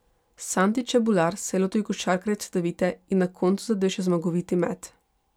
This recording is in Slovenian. Sandi Čebular se je lotil košarkarjev Cedevite in na koncu zadel še zmagoviti met.